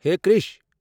Hai Krish!